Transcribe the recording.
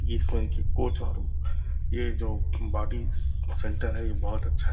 ये जो body centre है। ये बहुत अच्छा है।